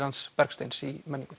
Bergsteins í menninguna